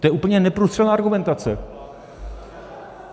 To je úplně neprůstřelná argumentace.